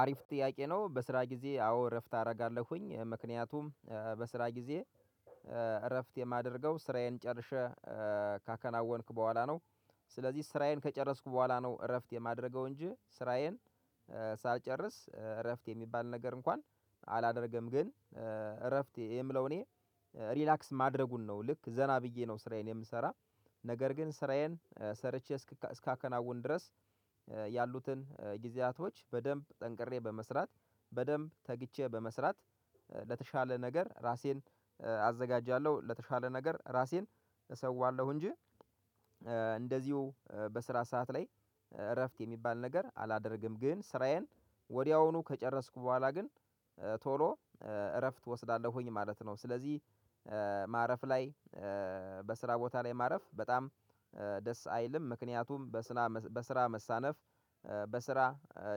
አሪፍ ጥያቄ ነው። በስራ ጊዜ፣ አዎ! እረፍት አደርጋለሁኝ፣ ምክንያቱም በስራ ጊዜ ኤ እረፍት የማደርገው፣ ስራዬን ጨርሼ፣ ኤ ካከናወንክ በኋላ ነው። ስለዚህ፣ ስራዬን ከጨረስኩ በኋላ ነው እረፍት የማደርገው፣ እንጂ ስራዬን ኤ ሳልጨርስ፣ እ እረፍት የሚባል ነገር እንኳን አላደርግም። ግን እ እረፍት የምለው እኔ ሪላክስ ማድረጉን ነው፣ ልክ ዘና ብዬ ነው ስራዬን የምሰራ ነገር ግን ስራዬን ሰርቼ እስካከናውን ድረስ፣ እ ያሉትን ጊዜያቶች በደንብ ጠንቅሬ፣ በመስራት፣ በደንብ ተግቼ በመስራት፣ ኤ ለተሻለ ነገር ራሴን ኤ አዘጋጃለሁ፣ ለተሻለ ነገር ራሴን እሰዋለሁ፣ እንጂ ኤ እንደዚሁ፣ በስራ ሰዓት ላይ እረፍት የሚባል ነገር አላደርግም። ግን ስራዬን ወዲያውኑ ከጨረስኩ በኋላ፣ ግን ቶሎ ኤ እረፍት ወስዳለሁኝ ማለት ነው። ስለዚህ፣ ኤ ማረፍ ላይ፣ ኤ በስራ ቦታ ላይ ማረፍ በጣም ደስ አይልም። ምክንያቱም በስራ መሳነፍ፣ በስራ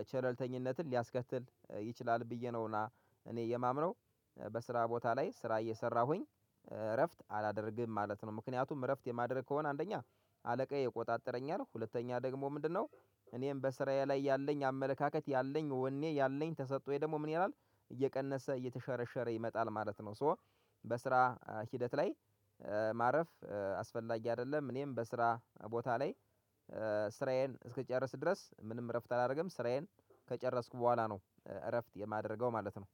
ቻለልተኝነትን ሊያስከትል ይችላል ብዬ ነውና እኔ የማምነው። በስራ ቦታ ላይ ስራ እየሰራሁኝ፣ እረፍት አላደረግም ማለት ነው፣ ምክንያቱም እረፍት የማደርግ ከሆነ፣ አንደኛ አለቃዬ ይቆጣጠረኛል። ሁለተኛ ደግሞ ምንድነው? እኔም በስራዬ ላይ ያለኝ አመለካከት፣ ያለኝ ወኔ ያለኝ፣ ተሰጥቶኝ፣ ደግሞ ምን ይላል? እየቀነሰ፣ እየተሸረሸረ ይመጣል ማለት ነው። ሶ በስራ ሂደት ላይ ኤ ማረፍ ኤ አስፈላጊ አይደለም። እኔም በስራ ቦታ ላይ ኤ ስራዬን እስከጨረስኩ ድረስ፣ ምንም እረፍት አላደርግም። ስራዬን ከጨረስኩ በኋላ ነው እረፍት የማደርገው ማለት ነው።